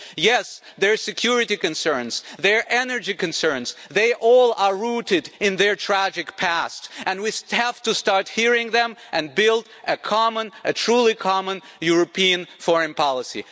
Yes, their security concerns and their energy concerns are all rooted in their tragic past, and we have to start hearing them in order to build a common, a truly common, European foreign policy.